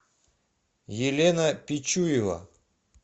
елена пичуева